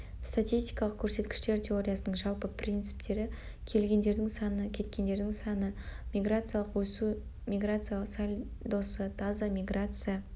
статистикалық көрсеткіштер теориясының жалпы принциптері келгендердің саны кеткендердің саны миграциялық өсу миграция сальдосы таза миграция